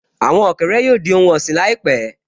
Àwọn ọ̀kẹ́rẹ́ yóò di ohun ọ̀sìn láìpẹ́